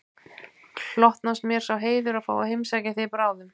Hlotnast mér sá heiður að fá að heimsækja þig bráðum aftur